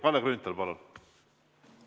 Kalle Grünthal, palun!